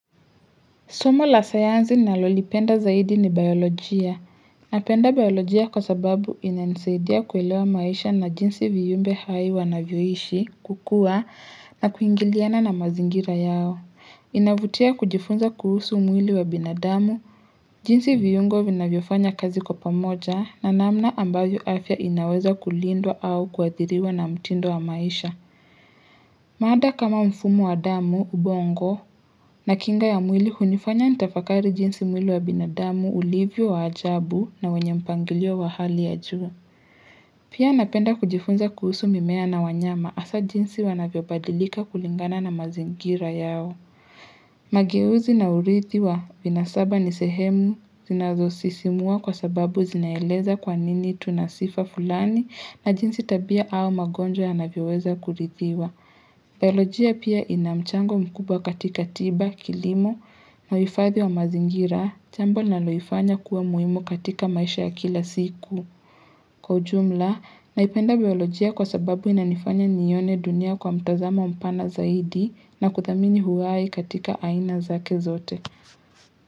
Somo la sayansi ninalolipenda zaidi ni biolojia. Napenda biolojia kwa sababu ina nisaidia kuelewa maisha na jinsi viyumbe hai wanavyoishi, kukua, na kuingiliana na mazingira yao. Inavutia kujifunza kuhusu mwili wa binadamu. Jinsi viyungo vina vyofanya kazi kwa pamoja na namna ambayo afya inaweza kulindwa au kuadiriwa na mtindo wa maisha. Maada kama mfumo wa damu, ubongo, na kinga ya mwili hunifanya nitafakari jinsi mwili wa binadamu ulivyo wa ajabu na wenye mpangilio wa hali ya juu. Pia napenda kujifunza kuhusu mimea na wanyama hasa jinsi wanavyo badilika kulingana na mazingira yao. Magiyuzi na urithi wa vina saba nisehemu zinazosisimua kwa sababu zinaeleza kwanini tunasifa fulani na jinsi tabia au magonjwa ya navyo weza kurithiwa. Biolojia pia inamchango mkubwa katika tiba, kilimo, na uwifadhi wa mazingira, jambo linaloifanya kuwa muhimu katika maisha ya kila siku. Kwa ujumla, naipenda biolojia kwa sababu inanifanya niione dunia kwa mtazamo mpana zaidi na kuthamini uhai katika aina zake zote.